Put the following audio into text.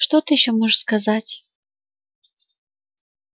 что ты ещё можешь сказать